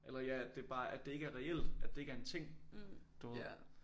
Eller ja at det bare at det ikke er reelt at det ikke er en ting du ved